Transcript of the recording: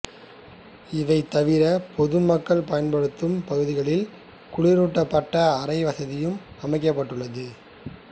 இவை தவிர பொதுமக்கள் பயன்படுத்தும் பகுதிகளில் குளிரூட்டப்பட அறை வசதியும் அமைக்கப்பட்டுள்ளது